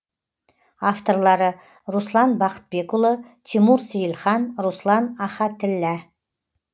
авторлары руслан бақытбекұлы тимур сейлхан руслан ахатіллә